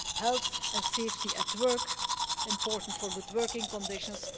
health and safety at work important for good working conditions